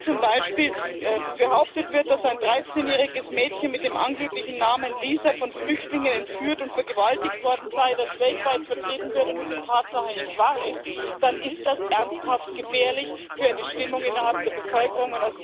Wenn zum Beispiel behauptet wird, dass ein dreizehnjähriges Mädchen mit dem angeblichen Namen Lisa von Flüchtlingen entführt und vergewaltigt worden sei, das weltweit vertrieben wird und es in Tatsache nicht wahr ist, dann ist das ernsthaft gefährlich für eine Stimmung innerhalb der Bevölkerung.